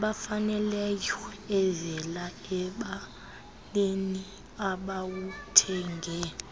ebafaneleyoevela embaneni abawuthenge